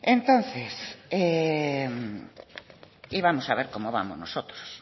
entonces íbamos a ver cómo vamos nosotros